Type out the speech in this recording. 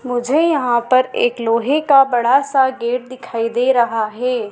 मुझे यहां पर एक लोहे का बड़ा सा गेट दिखाई दे रहा है।